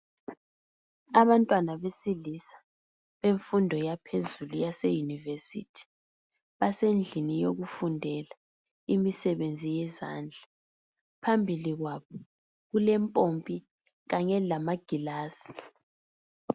Abantwana besilisa bemfundo yaphezulu yase university basendlini yokufundela imisebenzi yezandla. Phambili kwabo kulempompi kanye lamagilasi.